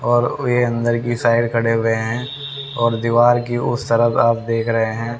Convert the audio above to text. और ये अंदर की साइड खड़े हुए हैं और दीवार की उस तरफ आप देख रहे हैं।